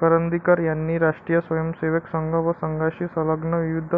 करंदीकर यांनी राष्ट्रीय स्वयंसेवक संघ व संघाशी संलग्न विविध